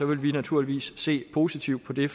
vi naturligvis vil se positivt på det